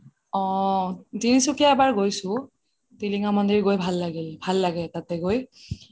অহ তিনসুকিয়া এবাৰ গৈছো টিলিঙা মন্দিৰ গৈ ভাল লাগিল ভাল লাগে তাতে গৈ